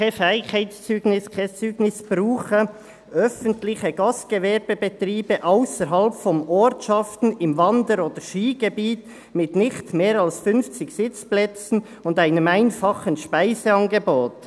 Kein Fähigkeitszeugnis, kein Zeugnis brauchen «öffentliche Gastgewerbebetriebe ausserhalb von Ortschaften im Wander- oder Skigebiet mit nicht mehr als 50 Sitzplätzen und einem einfachen Speiseangebot.»